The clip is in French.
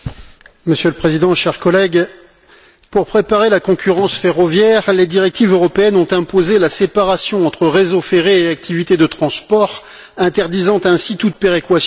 Monsieur le Président, chers collègues, pour préparer la concurrence ferroviaire, les directives européennes ont imposé la séparation entre réseau ferré et activités de transport, interdisant ainsi toute péréquation.